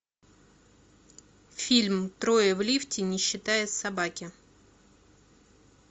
фильм трое в лифте не считая собаки